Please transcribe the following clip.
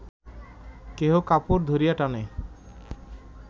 কেহ কাপড় ধরিয়া টানে